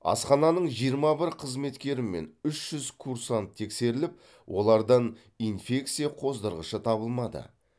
асхананың жиырма бір қызметкері мен үш жүз курсант тексеріліп олардан инфекция қоздырғышы табылмады